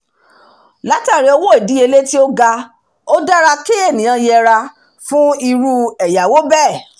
látàrí owó ìdíyelé to ga ó dára kí ènìyàn yẹra fún irú ẹ̀yáwó bẹ́ẹ̀